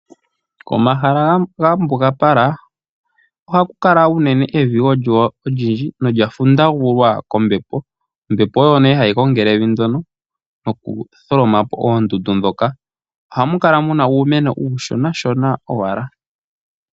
Komahala ga mbugambala ohaku kala unene evi olyo olindji nolya fundagulwa kombepo. Ombepo oyo nee hayi gongele evi ndyono nokutholomapo oondundu dhoka. Ohamu kala muna uumeno uushonashona owala.